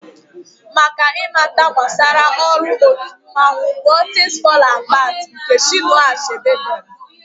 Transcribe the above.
Maka ị mata gbasara ọrụ otu mmanwụ, gụọ 'things fall apart' nke Chinụa Achebe dere.